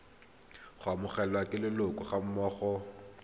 go amogelwa ke leloko gammogo